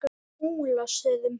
Múlastöðum